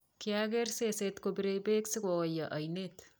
kiageer sesee kopiree bek sikooyo oinee